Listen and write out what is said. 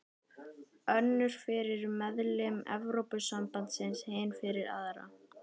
Önnur fyrir meðlimi Evrópusambandsins, hin fyrir aðra.